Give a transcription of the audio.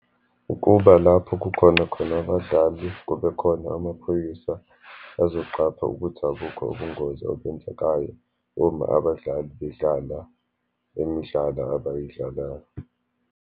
Ukuba lapho kukhona khona abadlali, kubekhona amaphoyisa azoqapha ukuthi abukho ubungozi obenzekayo uma abadlali bedlala imidlalo abayidlalayo.